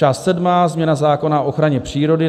Část sedmá - změna zákona o ochraně přírody.